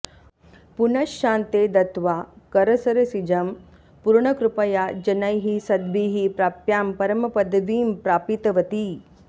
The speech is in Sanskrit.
पुनश्चान्ते दत्त्वा करसरसिजं पूर्णकृपया जनैः सद्भिः प्राप्यां परमपदवीं प्रापितवती